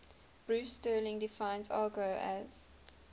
bruce sterling defines argot as